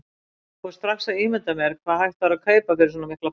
Og fór strax að ímynda sér hvað hægt væri að kaupa fyrir svo mikla peninga.